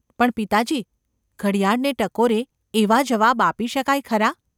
‘પણ, પિતાજી ! ઘડિયાળને ટકોરે એવા જવાબ આપી શકાય ખરા?